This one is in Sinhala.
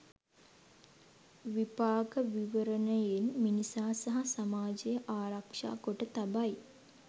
විපාක විවරණයෙන් මිනිසා සහ සමාජය ආරක්‍ෂා කොට තබයි.